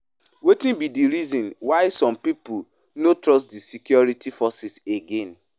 Wetin be di reason why some people no trust di security forces again?